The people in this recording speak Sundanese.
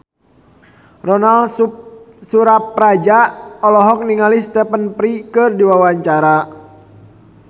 Ronal Surapradja olohok ningali Stephen Fry keur diwawancara